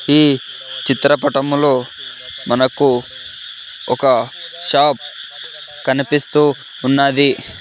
ఈ చిత్రపటంలో మనకు ఒక షాప్ కనిపిస్తూ ఉన్నది.